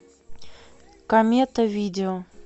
комета видео